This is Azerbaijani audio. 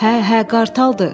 Hə, hə, qartaldır!